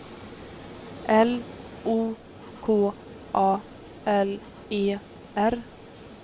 L O K A L E R